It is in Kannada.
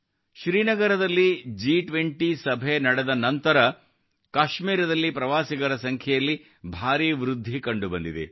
ಶ್ರೀನಗರದಲ್ಲಿ ಜಿ20 ಸಭೆ ನಡೆದ ನಂತರ ಕಾಶ್ಮೀರದಲ್ಲಿ ಪ್ರವಾಸಿಗರ ಸಂಖ್ಯೆಯಲ್ಲಿ ಭಾರಿ ವೃದ್ಧಿ ಕಂಡುಬಂದಿದೆ